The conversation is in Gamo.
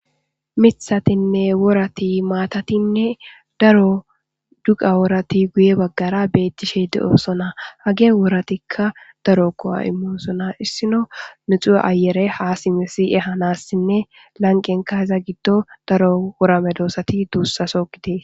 Mithatinne worati maatatinne daro duqa woorati guye baggara beettishe de'osona hage woratikka daro ko'o imosona issino mixu ayere ha simesi'e hanassinne lanqenka heza giddo daro worame doosati duussaso gidee.